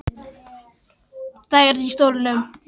Kannski sat einhver nú þegar í stólnum.